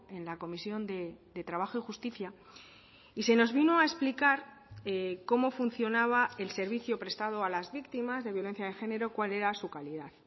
en la comisión de trabajo y justicia y se nos vino a explicar cómo funcionaba el servicio prestado a las víctimas de violencia de género cuál era su calidad